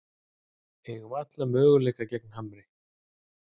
Eigum alla möguleika gegn Hamri